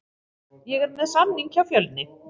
Ég er með samning hjá Fjölni.